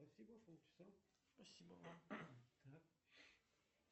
салют что делала после нашей последней беседы